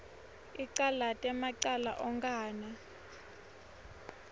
icalate macala onkhana